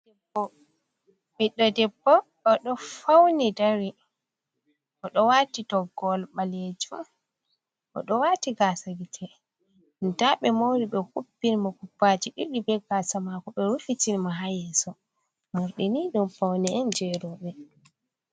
Ɓiɗɗo debbo o ɗo fawni dari, o ɗo waati toggol baleejum o ɗo waati gaasa gite ndaa ɓe moori ɓe kupbini mo kupbaaji ɗiɗi bee gaasa maako, ɓe rufitini mo haa yeeso, morɗi nii dum fawne on jey rooɓe.